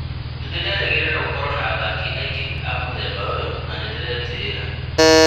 Nĩndĩrerĩgĩrĩra gũkorwo na athaki aingĩ a mũthemba ũyũ na nĩndĩretĩĩra